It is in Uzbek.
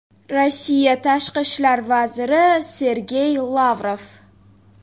Rossiya Tashqi ishlar vaziri Sergey Lavrov.